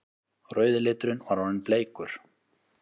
Rauði liturinn var orðinn bleikur!